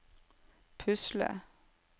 pusle